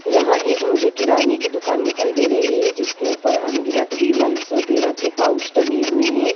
यहाँ एक मुझे किराने का दुकान दिखाई दे रही है जिसके ऊपर अनगिनत विमल्स वगैरह की पाउच टंगे हुए हैं।